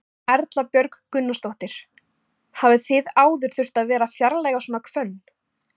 Erla Björg Gunnarsdóttir: Hafið þið áður þurft að vera að fjarlægja svona hvönn?